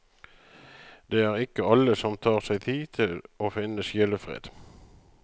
Det er ikke alle som tar seg tid til å finne sjelefred.